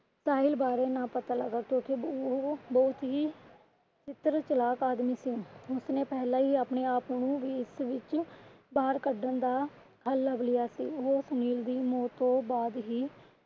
ਸਾਹਿਲ ਬਾਰੇ ਨਾ ਪਤਾ ਲਗਾਕੇ ਕਿਉਕਿ ਉਹ ਬਹੁਤ ਹੀ ਚਤੁਰ ਚਲਾਕ ਆਦਮੀ ਸੀ। ਉਸਨੇ ਪਹਿਲੇ ਹੀ ਆਪਣੇ ਆਪ ਨੂੰ ਇਸ ਵਿੱਚ ਬਾਹਰ ਕੱਢਣ ਦਾ ਹੱਲ ਲੱਬ ਲਿਆ ਸੀ। ਉਹ ਸੁਨੀਲ ਦੀ ਮੌਤ ਤੋਂ ਬਾਅਦ ਹੀ